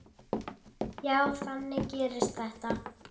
Já, þannig gerist þetta.